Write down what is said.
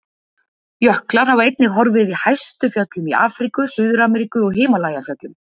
Jöklar hafa einnig horfið í hæstu fjöllum í Afríku, Suður-Ameríku og Himalajafjöllum.